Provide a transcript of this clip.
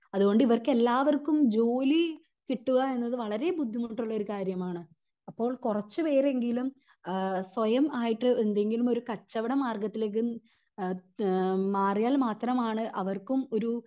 അതുകൊണ്ട് ഇവർക്കെല്ലാവർക്കും ജോലി കിട്ടുക എന്നത് വളരേ ബുദ്ധിമുട്ടുള്ള ഒരു കാര്യമാണ് അപ്പോൾ കുറച്ച് പേരെങ്കിലും ആഹ് സ്വയം ആയിട്ട് എന്തെങ്കിലും ഒരു കച്ചവട മാർഗ്ഗത്തിലേക് അഹ് മാറിയാൽ മാത്രം ആണ് അവർക്കും ഒരു